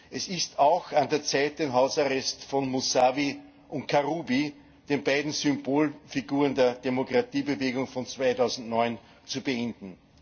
Es ist auch an der Zeit, den Hausarrest von Mussawi und Karrubi den beiden Symbolfiguren der Demokratiebewegung von 2009 zu beenden.